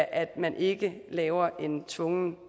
at man ikke laver en tvungen